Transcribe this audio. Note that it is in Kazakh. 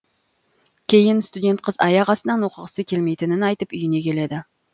кейін студент қыз аяқастынан оқығысы келмейтінін айтып үйіне келеді